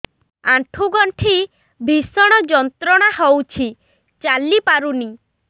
ଆଣ୍ଠୁ ଗଣ୍ଠି ଭିଷଣ ଯନ୍ତ୍ରଣା ହଉଛି ଚାଲି ପାରୁନି